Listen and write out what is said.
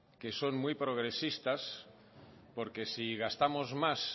que son muy progresistas porque si gastamos más